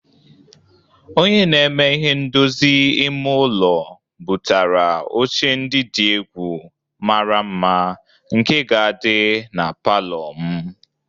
Onye na-eme ihe ndozi ime ụlọ bụtara oche ndị dị egwu, mara mma nke ga-adị na palọọ m